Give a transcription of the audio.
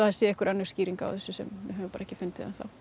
sé einhver önnur skýring á þessu sem við höfum bara ekki fundið enn þá